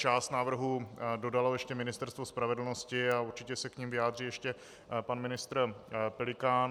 Část návrhů dodalo ještě Ministerstvo spravedlnosti a určitě se k nim vyjádří ještě pan ministr Pelikán.